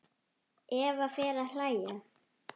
Eva fer að hlæja.